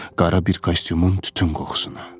Qara bir kostyumun tütün qoxusuna.